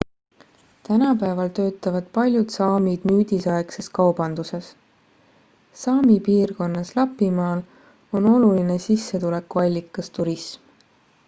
tänapäeval töötavad paljud saamid nüüdisaegses kaubanduses saami piirkonnas lapimaal on oluline sissetulekuallikas turism